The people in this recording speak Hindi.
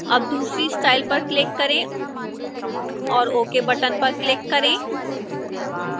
अब दूसरी style पर click करें और ok बटन पर click करें